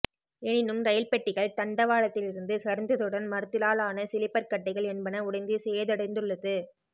எனினும் ரயில் பெட்டிகள் தண்டவாளத்திலிருந்து சரிந்ததுடன் மரத்திலாலான சிலிப்பர் கட்டைகள் என்பன உடைந்து சேதடைந்துள்ளது